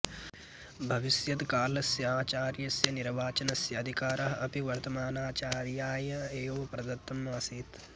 भविष्यत्कालस्य आचार्यस्य निर्वाचनस्य अधिकारः अपि वर्तमानाचार्याय एव प्रदत्तम् आसीत्